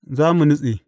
Za mu nutse!